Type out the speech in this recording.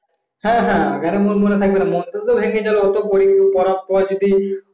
হ্যাঁ হ্যাঁ, কেন মনে মনে থাকবে না মনটা তো ভেঙে গেল ওইটুক ওই অত পড়ার পর যদি